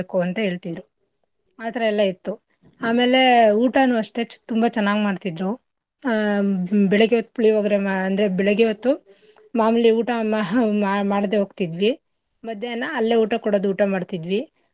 ಅಂತ ಹೇಳ್ತಿದ್ರು ಆತರ ಎಲ್ಲಾ ಇತ್ತು ಆಮೇಲೆ ಊಟನೂ ಅಷ್ಟೇ ಚ ತುಂಬಾ ಚೆನ್ನಾಗ್ ಮಾಡ್ತಿದ್ರು ಆಹ್ ಬೆಳಿಗ್ಗೆ ಹೊತ್ ಪುಳಿಯೊಗ್ರೆ ಮಾ ಅಂದ್ರೆ ಬೆಳಗ್ಗೆ ಹೊತ್ತು ಮಾಮೂಲಿ ಊಟ ಮಹಾ ಮಾಹ ಮಾಡ್ದೆ ಹೋಗ್ತಿದ್ವಿ ಮಧ್ಯಾಹ್ನ ಅಲ್ಲೇ ಊಟ ಕೊಡದು ಊಟ ಮಾಡ್ತಿದ್ವಿ.